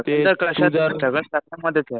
Struggle कशात नाही. Struggle तर सगळ्यामधेच आहे.